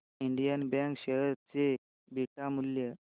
Indian bank share चे beta मूल्य